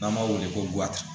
N'an b'a wele ko